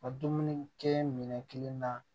Ka dumuni kɛ minɛn kelen na